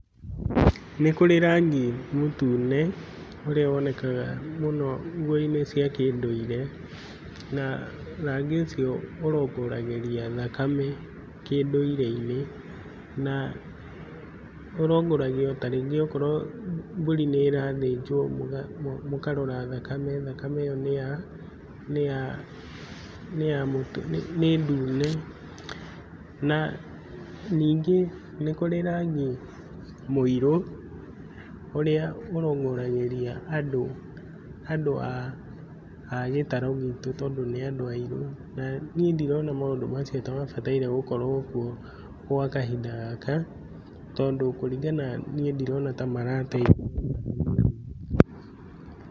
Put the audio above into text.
Nĩ kũrĩ rangi mũtune ũrĩa wonekaga mũno nguo-inĩ cia kĩndũire, na rangi ũcio ũrongoragĩria thakame kĩndũire-inĩ, na ũrongoragia ta rĩngĩ okorwo mbũri nĩ ĩrathinjwo mũkarora thakame, thakame ĩyo nĩ ya nĩ ya nĩ ndune, na ningĩ nĩ kũrĩ rangi mũirũ, ũrĩa ũrongoragĩria andũ andũ a gĩtaro gitũ, tondũ nĩ andũ airũ, naniĩ ndirona ta maũndũ macio ta mabataire gũkorwo kuo gwa kahinda gaka, tondũ kũringana niĩ ndirona ta marateithia.